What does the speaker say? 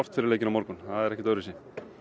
fyrir leikinn á morgun það er ekkert öðruvísi